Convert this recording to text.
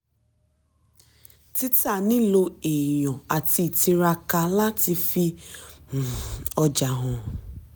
títà nilo èèyàn àti ìtiraka láti fi um ọjà hàn.